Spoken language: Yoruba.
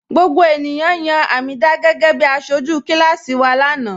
Gbogbo ènìyàn yan Hameedah gẹgẹ̀bí àṣọju kilasi wa lana